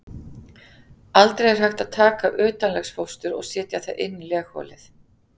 Aldrei er hægt að taka utanlegsfóstur og setja það inn í legholið.